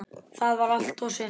Það var allt og sumt!